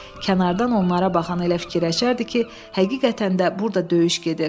Kənardan onlara baxan elə fikirləşərdi ki, həqiqətən də burda döyüş gedir.